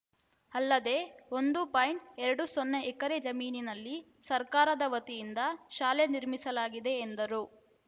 ಅಲ್ಲದೆ ಒಂದು ಪಾಯಿಂಟ್ ಎರಡು ಸೊನ್ನೆ ಎಕರೆ ಜಮೀನಿನಲ್ಲಿ ಸರ್ಕಾರದ ವತಿಯಿಂದ ಶಾಲೆ ನಿರ್ಮಿಸಲಾಗಿದೆ ಎಂದರು